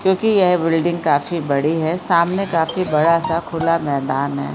क्यूंकि यह बिल्डिंग काफी बड़ी है सामने काफी बड़ा-सा खुला मैदान है।